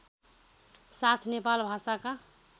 साथ नेपाल भाषाका